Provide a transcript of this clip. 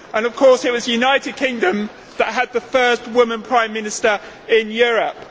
Of course, it was the United Kingdom that had the first woman Prime Minister in Europe.